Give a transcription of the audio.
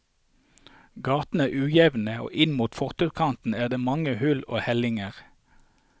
Gatene er ujevne, og inn mot fortauskanten er det mange hull og hellinger.